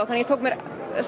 þannig ég tók mér